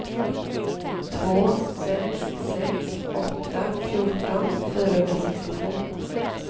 två sex sex åtta fjorton fyrahundrasextiotvå